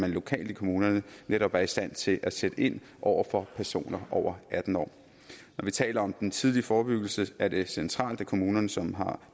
lokalt i kommunerne netop er i stand til at sætte ind over for personer over atten år når vi taler om den tidlige forebyggelse er det centralt at kommunerne som har